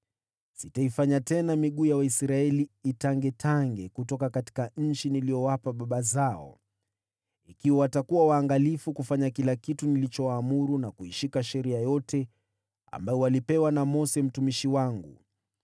Sitaifanya tena miguu ya Waisraeli itangetange kutoka nchi niliyowapa baba zao, ikiwa watakuwa waangalifu kufanya kila kitu nilichowaamuru, na kuishika Sheria yote ambayo walipewa na Mose mtumishi wangu.”